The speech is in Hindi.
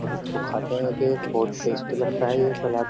और इसको खाते है एक-एक बहुत टेस्टी लगता है ये सलाद।